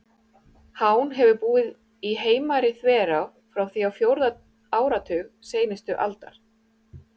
Hán hefur búið í Heimari-þverá frá því á fjórða áratug seinustu aldar.